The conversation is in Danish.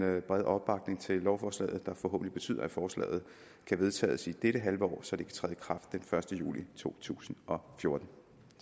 brede opbakning til lovforslaget der forhåbentlig betyder at forslaget kan vedtages i dette halvår så det kan træde i kraft den første juli to tusind og fjorten